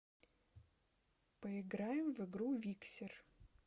поиграем в игру виксер